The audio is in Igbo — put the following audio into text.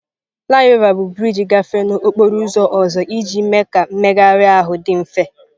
Flyover bụ brịjị gafere n'okporo ụzọ ọzọ iji mee ka mmegharị ahụ dị mfe.